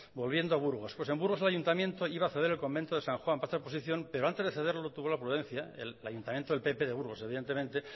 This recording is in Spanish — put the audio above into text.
volviendo a burgos pues en burgos el ayuntamiento iba a ceder el convento de san juan para hacer oposición pero antes de cederlo tuvo la prudencia el ayuntamiento del pp de burgos evidentemente